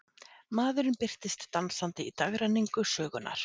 Maðurinn birtist dansandi í dagrenningu sögunnar.